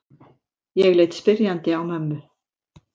Ég leit spyrjandi á mömmu.